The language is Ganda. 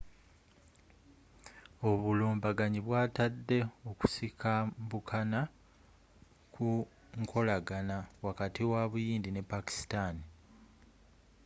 obulumbaganyi bwatadde okusikambukana ku nkolagana wakati wa buyindi ne pakistan